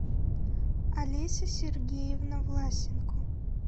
олеся сергеевна власенко